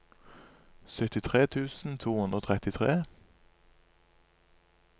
syttitre tusen to hundre og trettitre